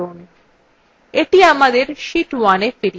এটি আমাদের sheet 1এ ফিরিয়ে আনে